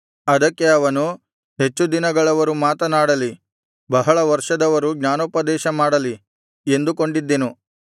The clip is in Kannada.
ಅದಕ್ಕೆ ಅವನು ಹೆಚ್ಚು ದಿನಗಳವರು ಮಾತನಾಡಲಿ ಬಹಳ ವರ್ಷದವರು ಜ್ಞಾನೋಪದೇಶಮಾಡಲಿ ಎಂದುಕೊಂಡಿದ್ದೆನು